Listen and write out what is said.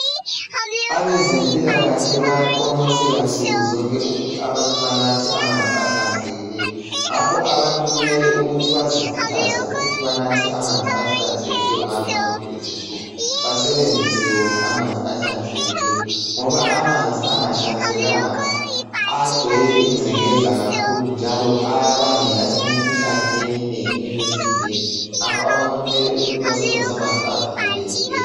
Abezempilakahle bayaqonqosela nsukuzonke ukuthi abantu banathe amanzi ahlanzekileyo. Abantu kumele bazikhuthaze ukusebenzisa amanzi ahlanzekileyo lokunatha wona. Amanzi angcolileyo abangela imikhuhlane emizimbeni ngakho abantu mele basebenzise amanzi ahlanzekileyo.